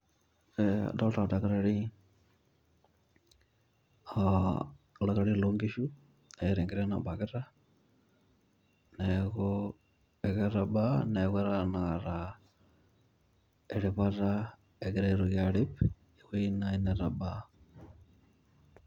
Aa adolita oldakitari, oldakitari loo nkishu eeta enkiteng' nabakita neeku eketabaa neeku egira tenakata eripata egira aitoki arip ewuei nai netabaa .